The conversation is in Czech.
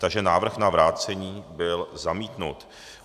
Takže návrh na vrácení byl zamítnut.